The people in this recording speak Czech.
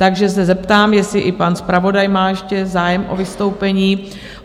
Takže se zeptám, jestli i pan zpravodaj má ještě zájem o vystoupení?